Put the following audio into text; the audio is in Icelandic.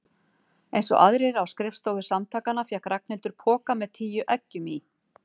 Einsog aðrir á skrifstofu Samtakanna fékk Ragnhildur poka með tíu eggjum í.